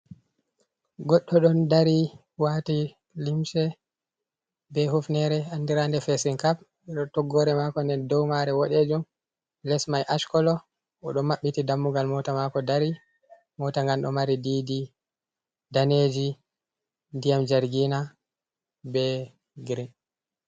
Goddo don dari wati limse be hufnere andirande fesing kap toggore mako nder dow mare bodejum, les mai ashkolo o do mabbiti dammugal mota mako dari mota gam do mari didi daneji dyam jargina be green.